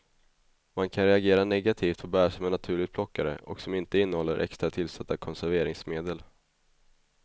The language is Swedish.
Man kan reagera negativt på bär som är naturligt plockade och som inte innehåller extra tillsatta konserveringsmedel.